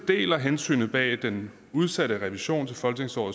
deler hensynet bag den udsatte revision til folketingsåret